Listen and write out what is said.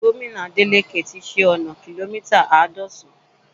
Gómìnà Adeleke ti ṣe ọna kìlómítà àádọ́san